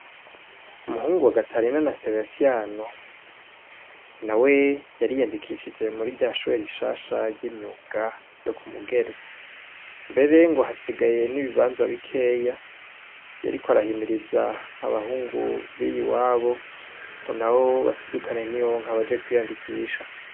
Umuhungu wa gatarina na sebastiano nawe yariyandikishije murirya shure rishash ryimyuga ryo kumugere mbere hasigaye nibibanza bikeya hariko arahimiriza abahungu ba hariya iwabo ngo nabo basidukane niyonka ngo baje kwiyandikisha